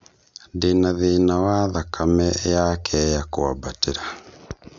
Ndĩna thĩna wa thakame yakea kũambatira